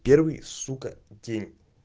первый сука день